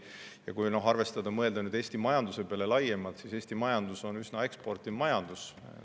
Ja kui mõelda Eesti majanduse peale laiemalt, siis Eesti majandus on üsna eksportiv majandus.